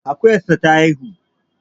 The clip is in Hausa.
Akuyarsa ta haihu